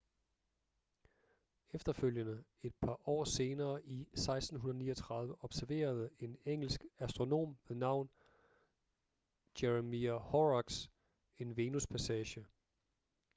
efterfølgende et par år senere i 1639 observerede en engelsk astronom ved navn jeremiah horrocks en venuspassage